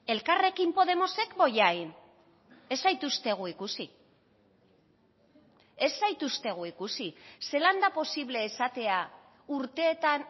elkarrekin podemosek bollain ez zaituztegu ikusi ez zaituztegu ikusi zelan da posible esatea urteetan